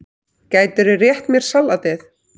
Gætirðu rétt mér saltið?